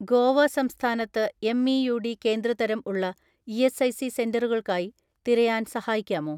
"ഗോവ സംസ്ഥാനത്ത് M E U D കേന്ദ്ര തരം ഉള്ള ഇ.എസ്.ഐ.സി സെന്ററുകൾക്കായി തിരയാൻ സഹായിക്കാമോ?"